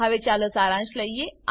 હવે ચાલો સારાંશ લઈએ